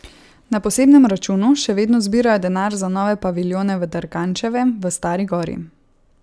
Na posebnem računu še vedno zbirajo denar za nove paviljone v Dergančevem, v Stari Gori.